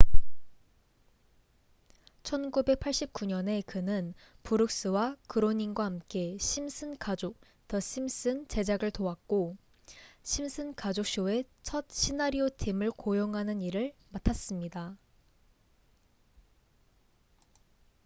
1989년에 그는 브룩스와 그로닝과 함께 심슨 가족the simpsons 제작을 도왔고 심슨 가족 쇼의 첫 시나리오 팀을 고용하는 일을 맡았습니다